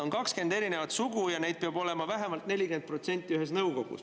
On 20 erinevat sugu ja neid peab olema vähemalt 40% ühes nõukogus.